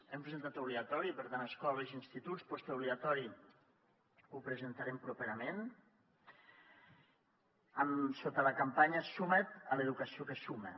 hem presentat obligatori per tant escoles i instituts postobligatori ho presentarem properament sota tota la campanya suma’t a l’educació que suma